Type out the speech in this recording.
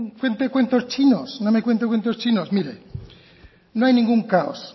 cuente cuentos chinos no me cuente cuentos chinos mire no hay ningún caos